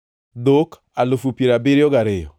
dhok alufu piero abiriyo gariyo (72,000),